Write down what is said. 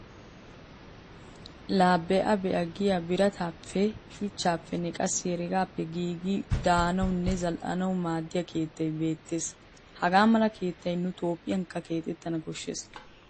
La be'a be'a giya birataappe, shuchchaappenne qassi heregaappe giigida daanawunne zal'anawu maaddiya keettay beettes. Hagaa mala keettay nu toophphiyankka keexettan koshshes.